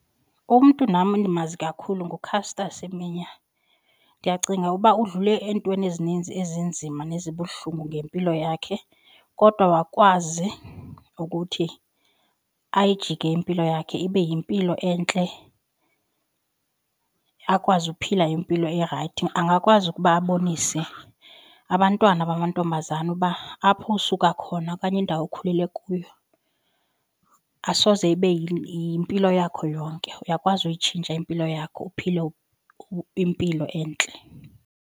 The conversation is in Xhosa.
Umntu nam endimazi kakhulu nguCaster Semenya ndiyacinga uba udlule eentweni ezininzi ezinzima ezibuhlungu ngempilo yakhe kodwa wakwazi ukuthi ayijike impilo yakhe ibe yimpilo entle akwazi uphila impilo erayithi. Angakwazi ukuba abonise abantwana bamantombazana uba apho usuka khona okanye indawo okhulele kuyo asoze ibe yimpilo yakho yonke. Uyakwazi uyitshintsha impilo yakho uphile impilo entle.